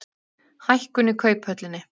Hækkun í Kauphöllinni